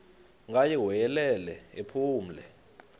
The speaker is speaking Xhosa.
ngaye wayelele ephumle